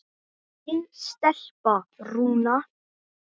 Þín stelpa, Rúna.